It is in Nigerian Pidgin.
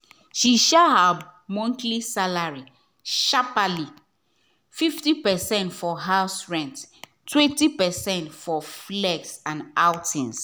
she share her monthly salary sharperly — 50 percent for house rent 20 percent for flex and outings.